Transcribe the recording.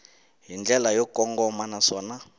hi ndlela yo kongoma naswona